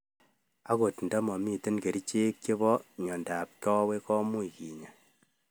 Angot ndamamitei kerchek chepo miondap kawek, much kenya